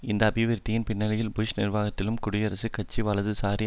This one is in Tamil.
இந்த அபிவிருத்தியின் பின்னணியில் புஷ் நிர்வாகத்தாலும் குடியரசுக் கட்சி வலதுசாரி